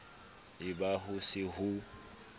e ba ho se ho